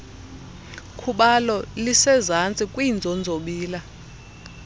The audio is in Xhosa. khubalo lisezantsi kwiinzonzobila